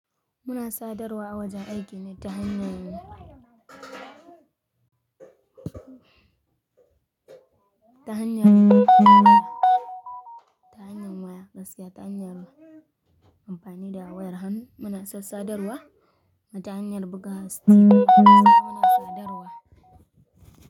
Muna sadarwa wajen aikin ne ta hanyar waya, ta hanyar waya, gaskiya ta hanyar amfani da wayar hannu muna sassadarwa, kumata hanyar buga sassa, muna sadarwa.